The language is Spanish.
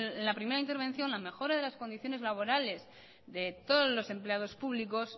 en la primera intervención de las condiciones laborales de todos los empleados públicos